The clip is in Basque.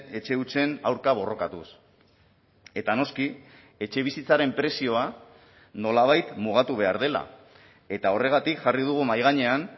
etxe hutsen aurka borrokatuz eta noski etxebizitzaren prezioa nolabait mugatu behar dela eta horregatik jarri dugu mahai gainean